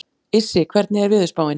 Issi, hvernig er veðurspáin?